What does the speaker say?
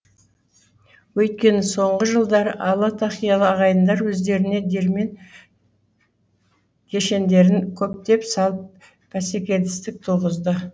өйткені соңғы жылдары ала тақиялы ағайындар өздерінее диірмен кешендерін көптеп салып бәсекелестік туғызды